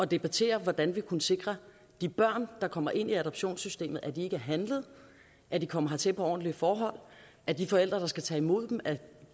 debattere hvordan vi kunne sikre at de børn der kommer ind i adoptionssystemet ikke er handlet at de kommer hertil på ordentlige forhold at de forældre der skal tage imod dem er